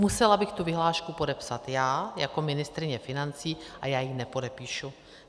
Musela bych tu vyhlášku podepsat já jako ministryně financí a já ji nepodepíšu.